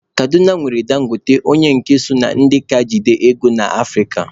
Kaduna nwere Dangote onye nke so na ndị ka jide ego na Afrịka.